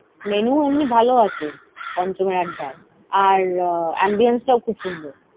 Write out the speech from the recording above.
মেনুও এমনি ভালো আছে, পঞ্চমের আড্ডায়। আর আহ ambience টাও খুব সুন্দর।